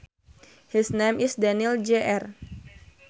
His name is Daniel Jr